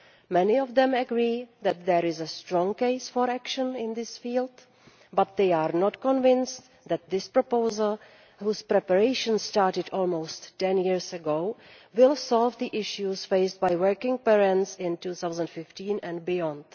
Many of them agree that there is a strong case for action in this field, but they are not convinced that this proposal, preparations for which started almost 10 years ago, will solve the issues faced by working parents in 2015 and beyond.